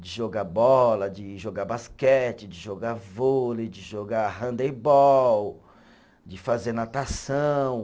De jogar bola, de jogar basquete, de jogar vôlei, de jogar handebol, de fazer natação.